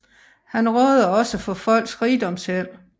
Han råder også for Folks Rigdomsheld